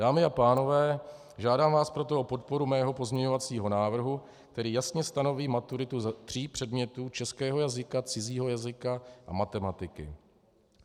Dámy a pánové, žádám vás proto o podporu svého pozměňovacího návrhu, který jasně stanoví maturitu ze tří předmětů - českého jazyka, cizího jazyka a matematiky.